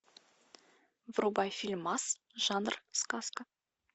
врубай фильмас жанр сказка